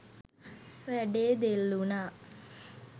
වැඩේ දෙල්වුනා.